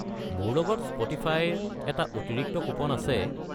মোৰ লগত স্প’টিফাইৰ এটা অতিৰিক্ত কুপন আছে।